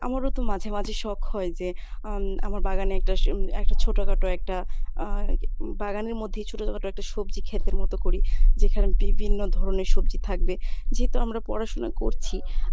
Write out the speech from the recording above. আমারো তো মাঝে মাঝে শখ হয় যে আহ আমার বাগানে একটা একটা ছোটখাটো একটা আহ বাগানের মধ্যেই ছোটখাট একটা সবজি ক্ষেতের মত করি যেখানে বিভিন্ন ধরনের সবজি থাকবে যেহেতু আমরা পড়াশুনা করছি